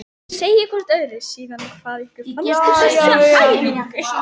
Segið hvort öðru síðan hvað ykkur fannst um þessa æfingu.